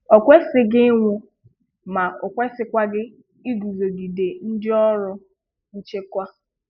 O kwesịghị ịnwụ, ma o kwesịkwaghị iguzogide ndị ọrụ nchekwa.